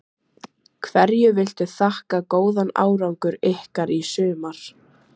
Hverju viltu þakka góðan árangur ykkar í sumar?